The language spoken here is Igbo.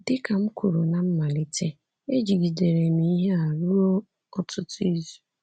Dị ka m kwuru ná mmalite, ejigidere m ihe a ruo ọtụtụ izu.